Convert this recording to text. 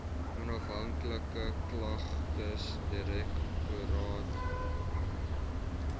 onafhanklike klagtesdirektoraat okd